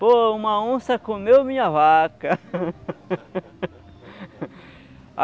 Pô, uma onça comeu minha vaca.